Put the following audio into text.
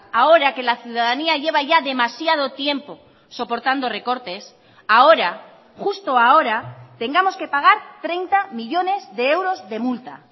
ahora que la ciudadanía lleva ya demasiado tiempo soportando recortes ahora justo ahora tengamos que pagar treinta millónes de euros de multa